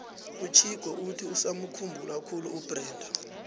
uchicco uthi usamukhumbula khulu ubrenda